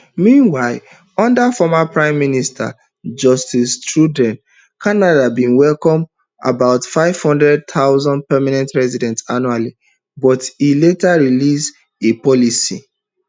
meanwhile under formerprime minister justin trudeau canada bin welcome about five hundred thousand permanent residents annually but e later release a policy